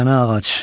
Sənə ağac.